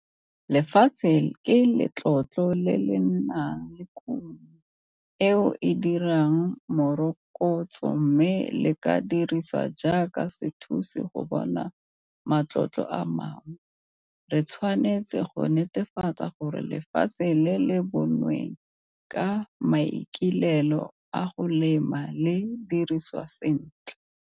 Lefatshe ke letlotlo le le nang le kuno eo e dirang morokotso mme le ka dirisiwa jaaka sethusi go bona matlotlo a mangwe. Re tshwanetse go netefatsa gore lefatshe le le bonweng ka maikalelo a go lema le dirisiwa sentle.